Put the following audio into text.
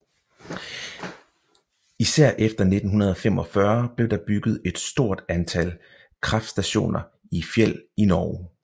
Især efter 1945 blev der bygget et stort antal kraftstationer i fjeld i Norge